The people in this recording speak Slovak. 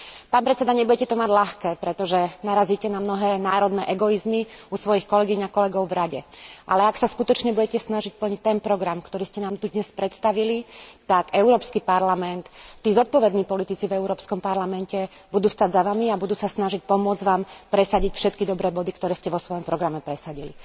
Pán predseda, nebudete to mať ľahké, pretože narazíte na mnohé národné egoizmy u svojich kolegýň a kolegov v Rade, ale ak sa skutočne budete snažiť plniť ten program, ktorý ste nám tu dnes predstavili, tak Európsky parlament, tí zodpovední politici v Európskom parlamente budú stáť za vami a budú sa snažiť pomôcť vám presadiť všetky dobré body, ktoré ste vo svojom programe presadili.